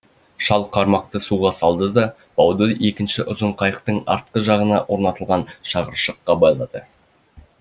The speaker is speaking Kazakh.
шал қармақты суға салды да бауды екінші ұзын қайықтың артқы жағына орнатылған шығыршыққа байлады